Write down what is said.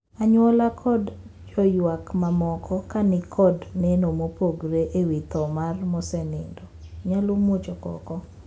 Anyuola kod joywak mamaoko ka ni kod neno mopogore e wii thoo mar mosenindo nyalo muocho koko.